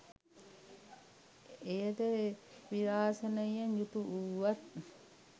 එයද විරාසනයෙන් යුතු වූවත්